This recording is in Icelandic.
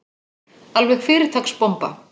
Alveg fyrirtaks bomba.